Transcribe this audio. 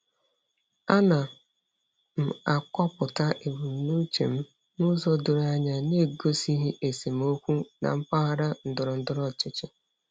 Ana m akọpụta ebumnuche m n'ụzọ doro anya na-egosighi esemokwu na mpaghara ndọrọ ndọrọ ọchịchị.